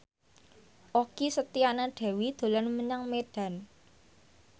Okky Setiana Dewi dolan menyang Medan